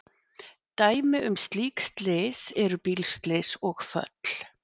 Dæmi um slík slys eru bílslys og föll.